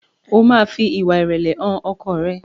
o ma fí ìwà irẹlẹ hàn ọkọ rẹ!